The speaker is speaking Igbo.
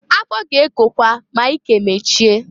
Afọ ga-ekokwa ma ike mechie.